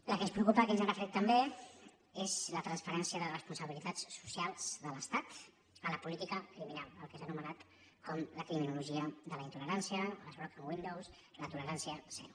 la que ens preocupa que ens hi hem referit també és la transferència de responsabilitats socials de l’estat a la política criminal fet que és anomenat com la criminologia de la intolerància o les broken windows la tolerància zero